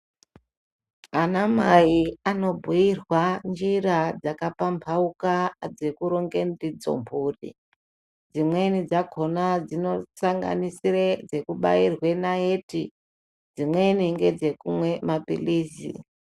Ana mai anobhuyirwa njira dzakapambauka dzekuronge ndidzo mhuri. Dzimweni dzakona dzinosanganisire kubairwa naiti, dziweni ngedzekumwe mapilizi.